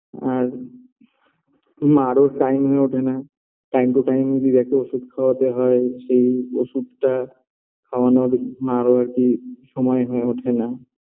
আর মারও time হয়ে ওঠেনা Time to time দিদাকে ওষুধ খাওয়াতে হয় সেই ওষুধটা খাওয়ানোর মারও আর কি সময় হয়ে ওঠে না